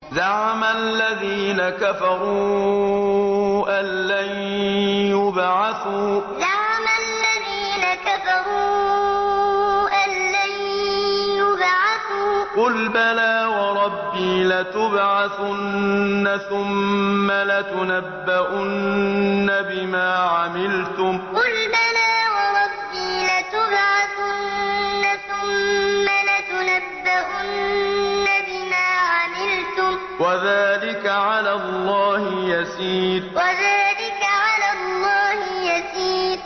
زَعَمَ الَّذِينَ كَفَرُوا أَن لَّن يُبْعَثُوا ۚ قُلْ بَلَىٰ وَرَبِّي لَتُبْعَثُنَّ ثُمَّ لَتُنَبَّؤُنَّ بِمَا عَمِلْتُمْ ۚ وَذَٰلِكَ عَلَى اللَّهِ يَسِيرٌ زَعَمَ الَّذِينَ كَفَرُوا أَن لَّن يُبْعَثُوا ۚ قُلْ بَلَىٰ وَرَبِّي لَتُبْعَثُنَّ ثُمَّ لَتُنَبَّؤُنَّ بِمَا عَمِلْتُمْ ۚ وَذَٰلِكَ عَلَى اللَّهِ يَسِيرٌ